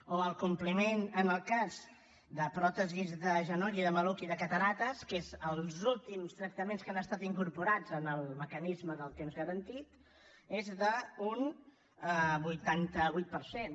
o el compliment en el cas de pròtesis de genoll i de maluc i de cataractes que són els últims tractaments que han estat incorporats en el mecanisme del temps garantit és d’un vuitanta vuit per cent